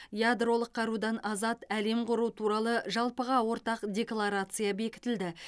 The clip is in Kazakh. ядролық қарудан азат әлем құру туралы жалпыға ортақ декларация бекітілді